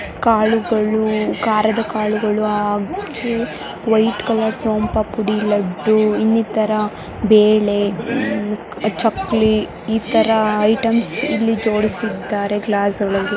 ಕಾಳುಗಳು ಕಾರದ ಕಾಳುಗಳು ಹಾಗಿ ವೈಟ್ ಕಲರ್ ಸೋಂಪಾ ಪುಡಿ ಲಡ್ಡು ಇನ್ನಿತರ ಬೇಳೆ ಚಕ್ಲಿ ಇತರ ಐಟಮ್ಸ್ ಇಲ್ಲಿ ಜೋಡಿಸಿದ್ದಾರೆ ಗ್ಲಾಸ್ ಒಳಗೆ.